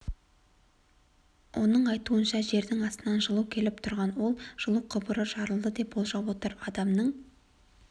оның айтуынша жердің астынан жылу келіп тұрған ол жылу құбыры жарылды деп болжап отыр адамның